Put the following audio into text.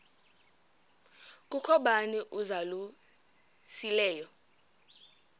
kukho bani uzalusileyo